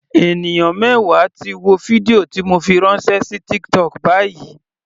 Ènìyàn mẹwa ti wo fídíò ti mo fi ránṣẹ́ sí TikTok báyìí.